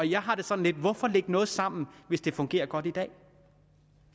jeg har det sådan hvorfor lægge noget sammen hvis det fungerer godt i dag